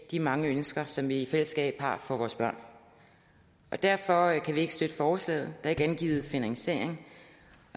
de mange ønsker som vi i fællesskab har for vores børn derfor kan vi ikke støtte forslaget der er ikke angivet finansiering